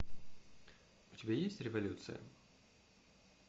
у тебя есть революция